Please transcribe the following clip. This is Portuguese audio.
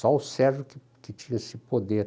Só o Sérgio que que tinha esse poder.